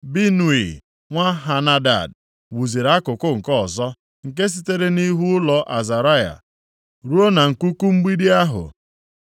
Binui nwa Henadad wuziri akụkụ nke ọzọ, nke sitere nʼihu ụlọ Azaraya ruo na nkuku mgbidi ahụ.